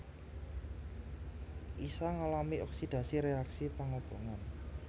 Isa ngalami oksidasi réaksi pangobongan